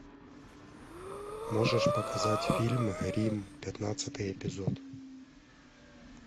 можешь показать фильм рим пятнадцатый эпизод